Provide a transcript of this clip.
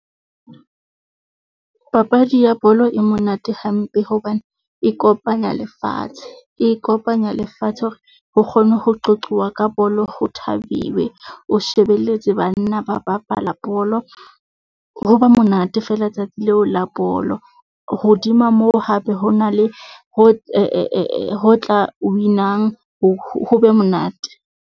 Papadi ya bolo e monate hampe hobane e kopanya lefatshe, e kopanya lefatshe hore ho kgone ho qoquwa ka bolo ho thabiwe. O shebelletse banna ba bapala bolo ho ba monate feela letsatsi leo la bolo. Hodima moo, hape ho na le ho tla win-wang ho be monate.